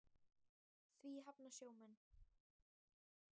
Því hafna sjómenn.